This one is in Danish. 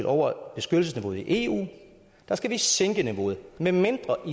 over beskyttelsesniveauet i eu skal vi sænke niveauet medmindre at